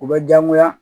U bɛ diyagoya